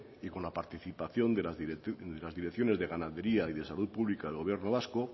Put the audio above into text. y con la participación de las direcciones de ganadería y de salud pública del gobierno vasco